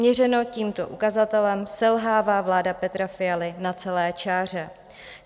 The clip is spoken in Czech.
Měřeno tímto ukazatelem selhává vláda Petra Fialy na celé čáře.